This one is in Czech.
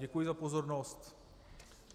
Děkuji za pozornost.